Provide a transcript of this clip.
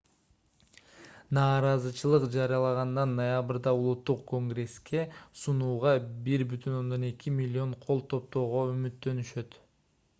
нааразычылык жарыялагандар ноябрда улуттук конгресске сунууга 1,2 миллион кол топтоого үмүттөнүшөт